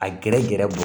A gɛrɛ gɛrɛ